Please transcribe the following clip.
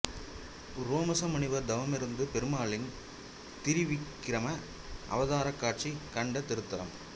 உரோமச முனிவர் தவமிருந்து பெருமாளின் திரிவிக்கிரம அவதாரக் காட்சி கண்ட திருத்தலம்